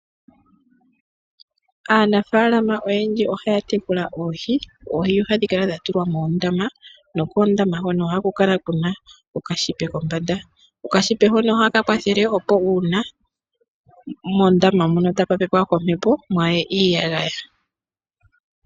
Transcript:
Aanafaalama oyendji ohaya tekula oohi. Oohi ohadhi kala dha tulwa moondama nokoondama hono ohaku kala kwa tulwa okashipa kombanda. Okashipa hoka ohaka kwathele, opo uuna mondama moka taku pepwa kombepo mwaa ye iiyagaya.